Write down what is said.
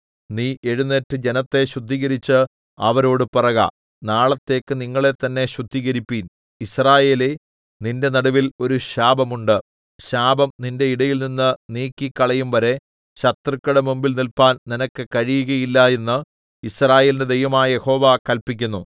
നീ എഴുന്നേറ്റ് ജനത്തെ ശുദ്ധീകരിച്ച് അവരോടു പറക നാളത്തേക്ക് നിങ്ങളെത്തന്നേ ശുദ്ധീകരിപ്പിൻ യിസ്രായേലേ നിന്റെ നടുവിൽ ഒരു ശാപം ഉണ്ട് ശാപം നിന്റെ ഇടയിൽനിന്ന് നീക്കിക്കളയും വരെ ശത്രുക്കളുടെ മുമ്പിൽ നില്പാൻ നിനക്ക് കഴിയുകയില്ല എന്ന് യിസ്രായേലിന്റെ ദൈവമായ യഹോവ കല്പിക്കുന്നു